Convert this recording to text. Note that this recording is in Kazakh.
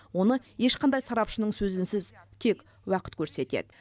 оны ешқандай сарапшының сөзінсіз тек уақыт көрсетеді